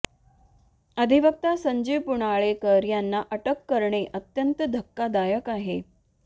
अधिवक्ता संजीव पुनाळेकर यांना अटक करणे अत्यंत धक्कादायक आहे